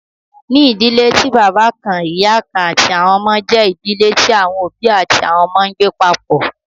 Ní idílẹ̀ tí baba kàn-ìyà kàn-àti àwọn ọmọ, jẹ idílẹ̀ tí àwọn obì àti àwọn ọmọ ǹgbẹ papọ.